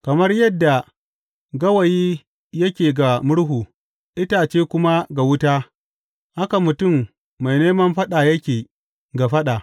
Kamar yadda gawayi yake ga murhu, itace kuma ga wuta, haka mutum mai neman faɗa yake ga faɗa.